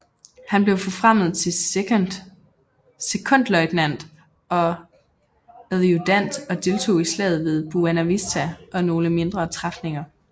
Han blev forfremmet til sekondløjtnant og adjudant og deltog i slaget ved Buena Vista og nogle mindre træfninger